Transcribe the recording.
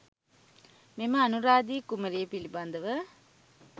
මෙම අනුරාදි කුමරිය පිළිබඳව